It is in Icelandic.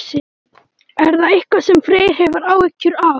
Er það eitthvað sem Freyr hefur áhyggjur af?